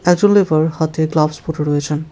একজন লেবার হাতে গ্লাভস পড়ে রয়েছেন।